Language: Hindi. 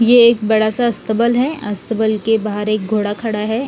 ये एक बड़ा सा अस्तबल है अस्तबल के बहार एक घोड़ा खड़ा है।